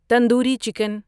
tandoori chicken